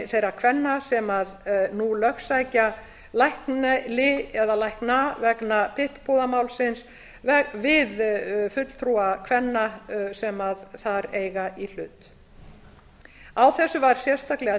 þeirra kvenna sem nú lögsækja lækni eða lækna vegna pip púðamálsins við fulltrúa kvenna sem þar eiga í hlut á þessu var sérstaklega